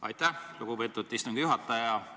Aitäh, lugupeetud istungi juhataja!